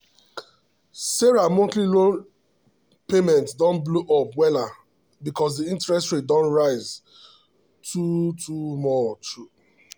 sarah monthly loan payment don blow up wella because the interest rate don rise too too much.